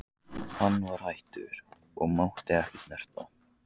Hann var hættur og mátti ekki snerta.